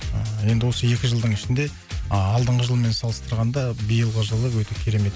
ыыы енді осы екі жылдың ішінде алдыңғы жылмен салыстырғанда биылғы жылы өте керемет